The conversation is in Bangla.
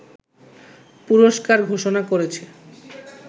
পুরস্কার ঘোষণা করেছে